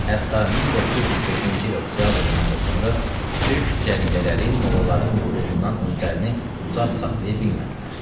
Hətta 1905-ci il oktyabrından da sonra türk cəridələri mollaların nüfuzundan özlərini uzaq saxlaya bilmədilər.